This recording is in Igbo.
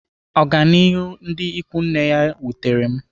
Ọganihu ndị ikwu nne ya wutere m.